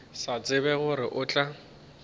sa tsebe gore o tla